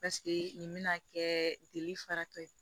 Paseke nin bɛna kɛ jeli faratɔ ye